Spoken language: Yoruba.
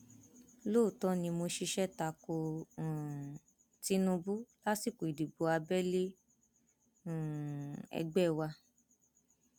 lóòótọ ni mo ṣiṣẹ ta ko um tinubu lásìkò ìdìbò abẹlé um ẹgbẹ wa